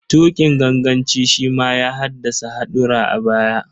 Tuƙin ganganci shi ma ya haddasa haɗura a baya.